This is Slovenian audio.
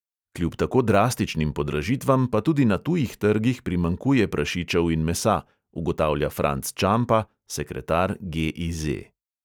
Kljub tako drastičnim podražitvam pa tudi na tujih trgih primanjkuje prašičev in mesa, ugotavlja franc čampa, sekretar GIZ.